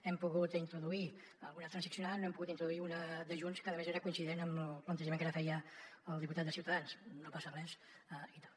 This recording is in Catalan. hem pogut introduir ne alguna de transaccionada no n’hem pogut introduir una de junts que a més era coincident amb el plantejament que ara feia el diputat de ciutadans no passa res i tal